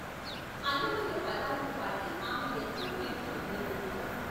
అన్నమయ్య పదాలను పాడి ఆమె ఎంతో కీర్తి పొందింది.